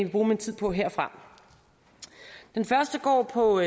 bruge min tid på herfra den første går på